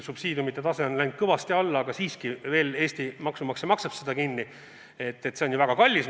Subsiidiumide tase on küll läinud kõvasti alla, aga siiski veel Eesti maksumaksja maksab seda kinni ja see on meile väga kallis.